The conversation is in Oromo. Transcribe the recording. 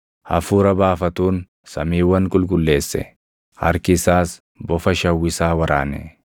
Hafuura baafatuun samiiwwan qulqulleesse; harki isaas bofa shawwisaa waraane.